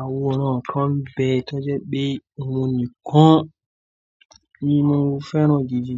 àwòrán kan bẹ tó jẹ́ pé ohun nìkan ni mo fẹ́ràn gidi